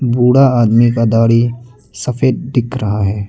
बूढ़ा आदमी का दाढ़ी सफेद दिख रहा है।